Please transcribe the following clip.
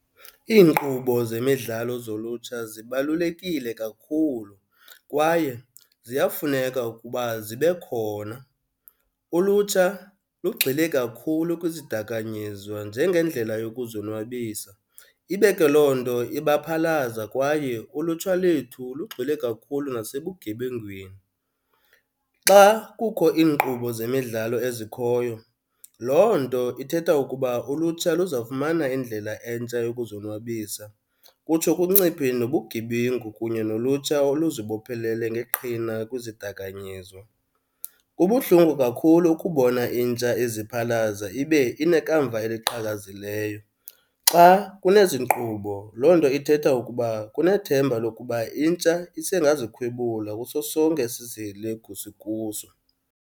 Iinkqubo zemidlalo zolutsha zibalulekile kakhulu kwaye ziyafuneka ukuba zibe khona. Ulutsha lugxile kakhulu kwizidakanyizwa njengendlela yokuzonwabisa. Ibe ke loo nto ibaphalaza kwaye ulutsha lethu lugxile kakhulu nasebugebengwini. Xa kukho iinkqubo zemidlalo ezikhoyo loo nto ithetha ukuba ulutsha luzawufumana indlela entsha yokuzonwabisa kutsho kunciphe nobugebengu kunye nolutsha oluzibophelele ngeqhina kwizidakanyizwa. Kubuhlungu kakhulu ukubona intsha iziphalaza ibe inekamva eliqhakazileyo. Xa kunezi nkqubo loo nto ithetha ukuba kunethemba lokuba intsha isengazikhwebula kuso sonke esi sihelegu sikuso.